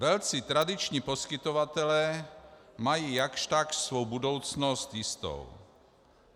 Velcí tradiční poskytovatelé mají jakž takž svou budoucnost jistou.